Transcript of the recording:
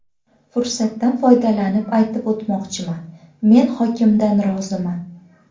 Fursatdan foydalanib aytib o‘tmoqchiman men hokimdan roziman.